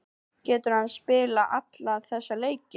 Getur hann spilað alla þessa leiki?